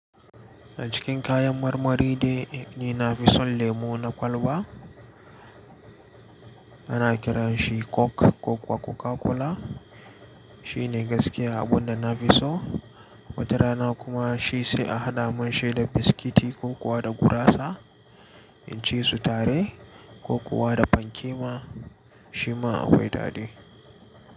A cikin kayan marmari dai ni na fi son lemu na kwalba ana kiranshi coke ko kuwa coca-cola. Shi ne gaskiya abunda nafi so. Wata rana kuma shi sai a hada mun shi da biskiti ko kuwa da gurasa in ci su tare ko kuwa da fanke ma shi ma akwai daɗi.